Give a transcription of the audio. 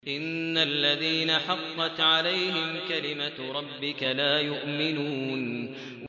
إِنَّ الَّذِينَ حَقَّتْ عَلَيْهِمْ كَلِمَتُ رَبِّكَ لَا يُؤْمِنُونَ